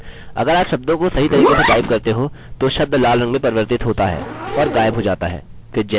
अगर आप शब्दों को सही तरीके से टाइप करते हो तो शब्द लाल रंग में परिवर्तित होता है और गायब हो जाता है